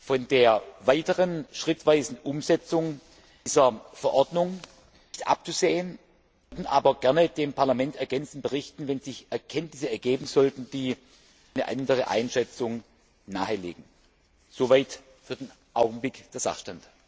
von der weiteren schrittweisen Umsetzung dieser Verordnung nicht abzusehen, werden aber gerne dem Parlament ergänzend berichten, wenn sich Erkenntnisse ergeben sollten, die eine andere Einschätzung nahelegen. Soweit für den Augenblick der Sachstand.